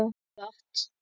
Jafnvel gott.